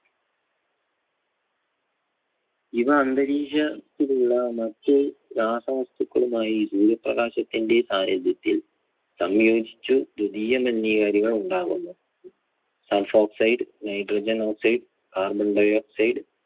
ഇവ അന്തരീക്ഷത്തിലുള്ള മറ്റ് രാസവസ്തുക്കളുമായി സൂര്യപ്രകാശത്തിന്റെ സാന്നിധ്യത്തിൽ സംയോജിച്ച് ദ്വിദീയ മലിനീകാരികൾ ഉണ്ടാകുന്നു. sulfoxide, Nitrogen oxide, carbon dioxide